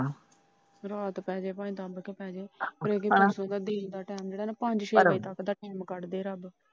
ਰਾਤ ਪੈ ਜੇ ਭਾਵੇ ਦੱਬ ਕੇ ਪੈ ਜੇ। ਜਿਹੜਾ ਬੀਚ ਦਾ ਟੈਮ ਪੰਜ ਛੇ ਵਜੇ ਦਾ ਟੀਮ ਕੱਢ ਦੇ ਰੱਬ।